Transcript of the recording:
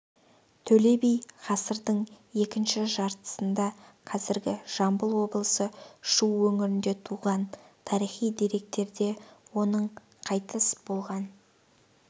төле би ғасырдың екінші жартысында қазіргі жамбыл облысы шу өңірінде туған тарихи деректерде оның қайтыс болған